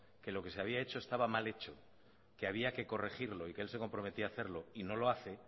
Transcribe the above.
que lo que se había hecho estaba mal hecho que había que corregirlo y que él se comprometía a hacerlo y no lo hace